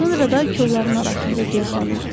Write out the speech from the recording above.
Sonra da kollarının arasında gözdən itdi.